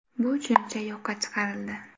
Bu tushuncha yo‘qqa chiqarildi.